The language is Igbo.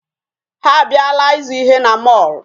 Ha abịala ịzụ ihe na mall.